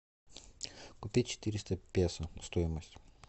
купить четыреста песо стоимость